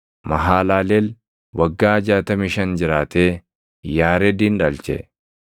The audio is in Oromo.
Mahalaleel waggaa 65 jiraatee Yaaredin dhalche.